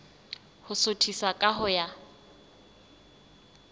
ho suthisa ka ho ya